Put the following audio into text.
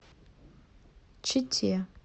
чите